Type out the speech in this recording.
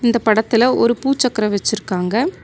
இந்த படத்துல ஒரு பூச்சக்கரம் வச்சிருக்காங்க.